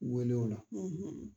U wele o la;